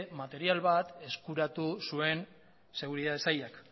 material bat eskuratu zuen seguritate sailak